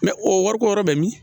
o wari ko yɔrɔ bɛ min